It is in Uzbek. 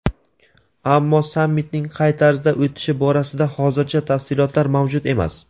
ammo sammitning qay tarzda o‘tishi borasida hozircha tafsilotlar mavjud emas.